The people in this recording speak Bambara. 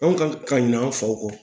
Anw kan ka ɲin'a fɔ u kɔ